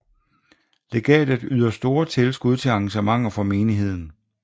Legatet yder store tilskud til arrangementer for menigheden